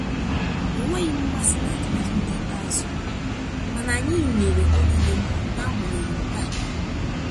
Enweghị m mmasị n'atụmatụ nke ikpeazụ, mana anyị nwere oge dị mma n'agbanyeghị nkea